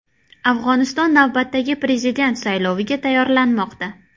Afg‘oniston navbatdagi prezident sayloviga tayyorlanmoqda.